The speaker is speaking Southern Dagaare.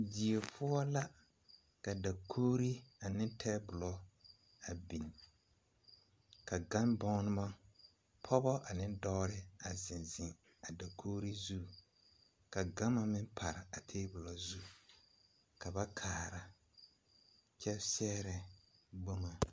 Die poɔ la ka dakogri and tabolɔ a bie ka gambommo dɔba ane pɔgeba zeŋ zeŋ a dakogri zu ka gama meŋ pare a tabolɔ zu ka ba kaara kyɛ sɛgrɛ boma.